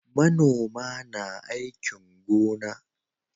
Manoma na aikin gona